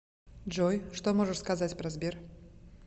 джой что можешь сказать про сбер